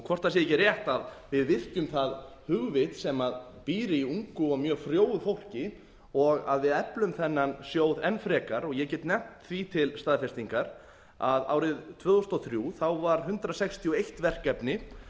hvort það sé ekki rétt að við virkjum það hugvit sem býr í ungu og mjög frjóu fólki og við eflum þennan sjóð enn frekar og ég get nefnt því til staðfestingar að árið tvö þúsund og þrjú var hundrað sextíu og eitt verkefni